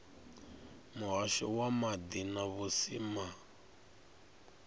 muhasho wa maḓi na vhusimama